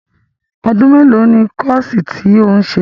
Ọdún mélòó ni kọ́ọ̀sì tí ò ń ṣe?